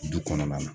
Du kɔnɔna na